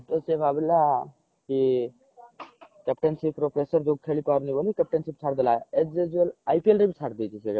ତ ସେ ଭାବିଲା କି captainship ର pressure ଯୋଗୁ ଖେଳିପାରୁନି ବୋଲି captainship ଛାଡିଦେଲା as usual IPL ରେ ବି ଛାଡିଦେଇଛି ସେ captainship